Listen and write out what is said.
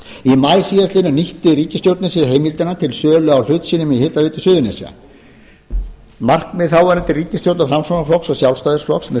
í maí síðastliðnum nýtti ríkisstjórnin sér heimildina til sölu á hlut sínum í hitaveitu suðurnesja markmið þáverandi ríkisstjórnar framsóknarflokks og sjálfstæðisflokks með